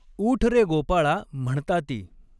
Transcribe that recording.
ऊठ रे गोपाळा म्हण्ताती।